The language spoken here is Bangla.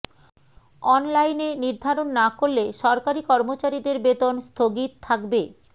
অনলাইনে নির্ধারণ না করলে সরকারি কর্মচারীদের বেতন স্থগিত থাকবে